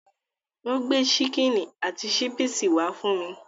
Ó gbé ṣíkínì àti ṣípìsì wá fún mi.